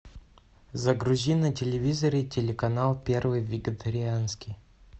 загрузи на телевизоре телеканал первый вегетарианский